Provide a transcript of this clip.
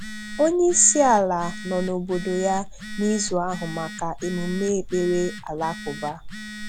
Onye um isi ala nọ n'obodo ya n'izu ahụ maka emume ekpere alakụba.